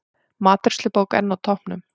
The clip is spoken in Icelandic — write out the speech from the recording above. Matreiðslubók enn á toppnum